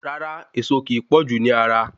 Rárá, Ẹ̀ẹ̀so ki pọ̀jú ni ara